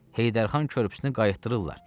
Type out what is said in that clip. Heydər xan körpüsünü qaytırdılar.